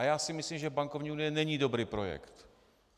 A já si myslím, že bankovní unie není dobrý projekt.